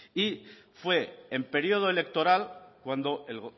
y fue en periodo electoral cuando el